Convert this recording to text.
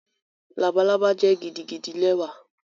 Labalaba jẹ gidigidi lẹwa